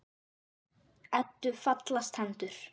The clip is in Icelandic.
Eddu fallast hendur.